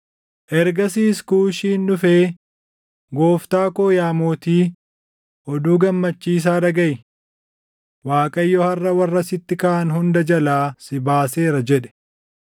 Ergasiis Kuushiin dhufee, “Gooftaa koo yaa mootii, oduu gammachiisaa dhagaʼi! Waaqayyo harʼa warra sitti kaʼan hunda jalaa si baaseera” jedhe.